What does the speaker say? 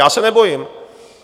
Já se nebojím.